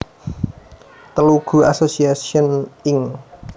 Telugu Association Inc